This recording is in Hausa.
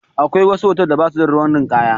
Akwai wasu hotal da ba su da ruwan ninkaya.